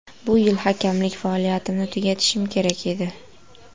Bu yil hakamlik faoliyatimni tugatishim kerak edi.